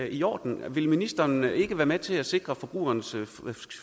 i orden vil ministeren ikke være med til at sikre forbrugerens